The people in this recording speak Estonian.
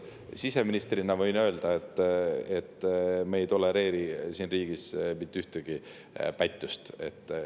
Siseministrina võin öelda, et me ei tolereeri siin riigis mitte ühtegi pättust.